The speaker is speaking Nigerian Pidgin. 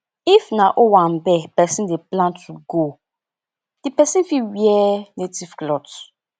if na owambe person dey plan to go di person fit wear native cloth